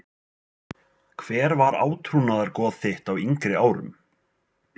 Keflavík Hver var átrúnaðargoð þitt á yngri árum?